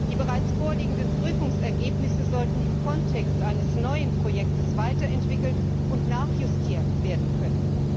Die bereits vorliegenden Prüfungsergebnisse sollten im Kontext eines neuen Projekts weiterentwickelt und nachjustiert werden können.